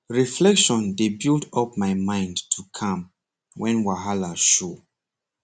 reflection dey build up my mind to calm when wahala show